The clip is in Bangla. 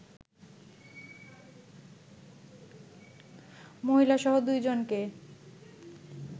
মহিলাসহ দুইজনকে